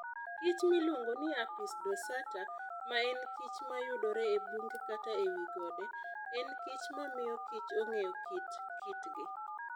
kichmiluongo ni Apis dorsata, ma enkich ma yudore e bunge kata e wi gode, enkich mamiyo kich ong'eyo kit kitgi.